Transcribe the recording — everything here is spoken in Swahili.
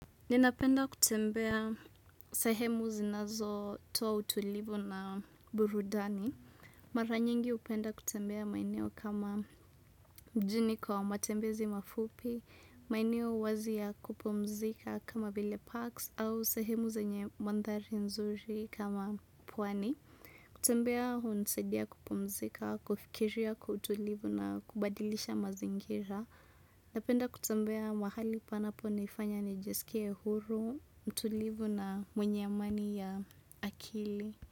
Ninapenda kutembea sehemu zinazotoa utulivu na burudani. Mara nyingi hupenda kutembea maeneo kama mjini kwa matembezi mafupi, maeneo wazi ya kupumzika kama vile parks au sehemu zenye mandhari nzuri kama pwani. Kutembea hunisaidia kupumzika, kufikiria kwa utulivu na kubadilisha mazingira. Napenda kutembea mahali panaponifanya nijisikie huru, mtulivu na mwenye amani ya akili.